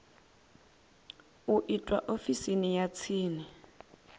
u itwa ofisini ya tsini